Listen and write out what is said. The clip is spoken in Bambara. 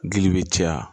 Gili bɛ caya